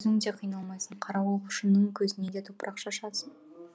өзің де қиналмайсың қарауылшының көзіне де топырақ шашасың